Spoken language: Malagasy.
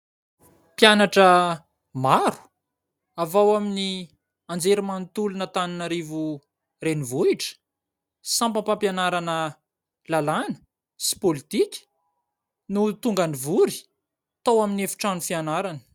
Mpianatra maro avy ao amin'ny anjerimanontolon'Antananarivo renivohitra, sampam-pampianarana lalàna sy pôlitika no tonga nivory tao amin'ny efitrano fianarana.